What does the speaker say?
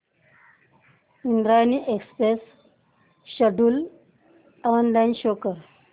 Indrayani express schedule online show कर